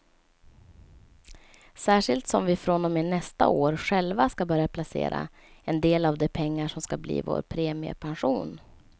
Särskilt som vi från och med nästa år själva ska börja placera en del av de pengar som ska bli vår premiepension.